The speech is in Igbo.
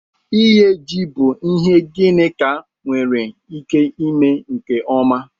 Ighe ji bụ ihe Ginika nwere ike ime nke ọma